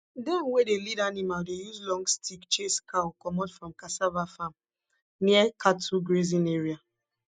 dem wey dey lead animal dey use long stick chase cow comot from cassava farm near cattle grazing area